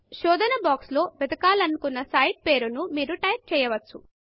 శోధన బాక్స్ లో వేదకాలనుకున్న సైట్ పేరు ను మీరు టైప్ చేయవచ్చు